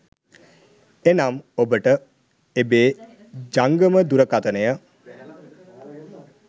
එනම් ඔබට එබේ ජංගම දුරකථනය